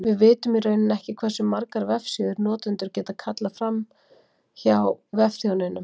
Við vitum í rauninni ekki hversu margar vefsíður notendur geta kallað fram frá vefþjóninum.